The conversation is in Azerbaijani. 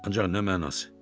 Ancaq nə mənası?